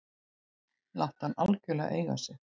Láttu hann algjörlega eiga sig.